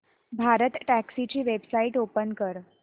भारतटॅक्सी ची website open कर